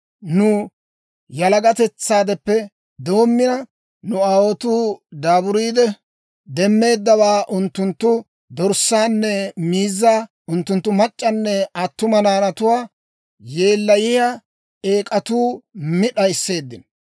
Nu yalagatetsaadeppe doommina, nu aawotuu daaburiide demmeeddawaa, unttunttu dorssaanne miizzaa, unttunttu mac'c'anne attuma naanatuwaa, yeellayiyaa eek'atuu mi d'ayisseeddino.